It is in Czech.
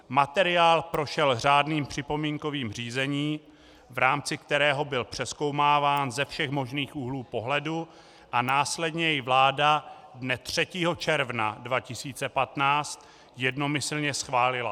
Materiál prošel řádným připomínkovým řízením, v rámci kterého byl přezkoumáván ze všech možných úhlů pohledu, a následně jej vláda dne 3. června 2015 jednomyslně schválila.